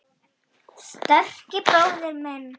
Sterki bróðir minn.